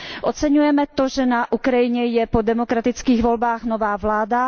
Oceňujeme to, že na Ukrajině je po demokratických volbách nová vláda.